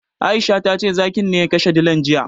Aisha tace zakin ne ya kashe dilan jiya.